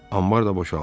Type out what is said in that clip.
"Anbar da boşaldı."